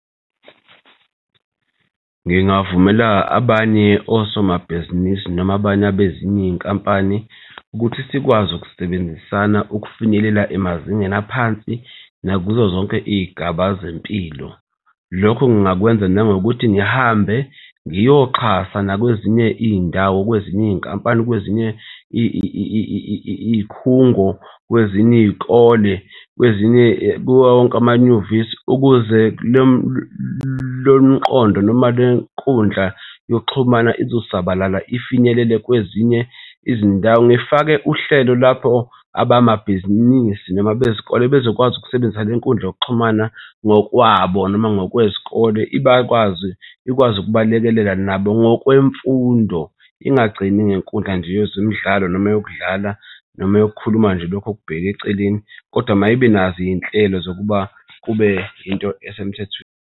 Ngingavumela abanye osomabhizinisi noma abanye abezinye iy'nkampani ukuthi sikwazi ukusebenzisana ukufinyelela emazingeni aphansi nakuzo zonke iy'gaba zempilo. Lokho ngingakwenza nangokuthi ngihambe ngiyoxhasa nakwezinye iy'ndawo, kwezinye iy'nkampani, kwezinye iy'khungo, kwezinye iy'kole, kwezinye kuwo wonke amanyuvesi, ukuze lomqondo noma le nkundla yokuxhumana izosabalala ifinyelele kwezinye izindawo. Ngifake uhlelo lapho abamabhizinisi noma bezikole bezokwazi ukusebenzisa le nkundla yokuxhumana ngokwabo noma ngokwezikole, bakwazi ikwazi ukubalekelela nabo ngokwemfundo. Ingagcini ngenkundla nje yezemidlalo noma yokudlala noma yokukhuluma nje lokho okubheke eceleni kodwa mayibe nazo iy'nhlelo zokuba kube yinto esemthethweni.